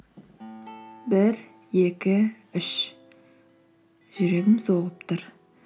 бір екі үш жүрегім соғып тұр